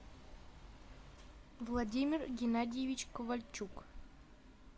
владимир геннадьевич ковальчук